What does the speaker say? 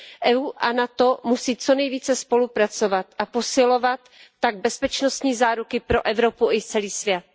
Evropská unie a NATO musí co nejvíce spolupracovat a posilovat tak bezpečnostní záruky pro Evropu i celý svět.